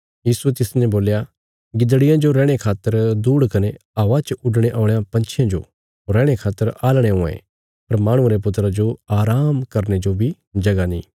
यीशुये तिसने बोल्या गिदड़ियां जो रैहणे खातर दूहड़ कने हवा च उडणे औल़यां पंछियां जो रैहणे खातर आलणे हुआं ये पर माहणुये रे पुत्रा जो आराम करने जो बी जगह नीं